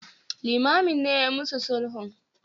Limamin ne yayi mu su sulhun.